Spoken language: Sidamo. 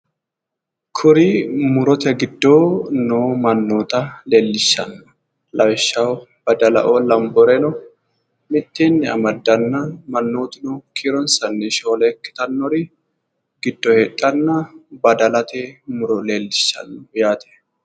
Kuri murote giddo noo mannoota leellishshanno lawishshaho badala"o lanboreno mitteenni amaddanna mannootuno kiironsanni shoole ikkitannori giddo heedhanna badalate muro leellishshanno yaate